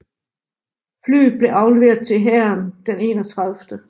Flyet blev afleveret til hæren den 31